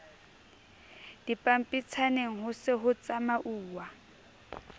dipampitshaneng ho se ho tsamauwa